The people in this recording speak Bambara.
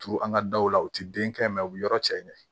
Turu an ka daw la u tɛ den kɛ u bɛ yɔrɔ cɛ ɲɛ